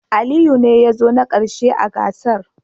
Aliyu ne ya zo na karshe a gasar